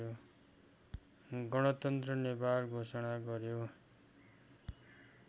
गणतन्त्र नेपाल घोषणा गर्‍यो